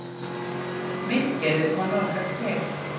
Myndskeiðið má nálgast hér